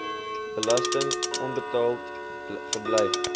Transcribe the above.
belasting onbetaald gebly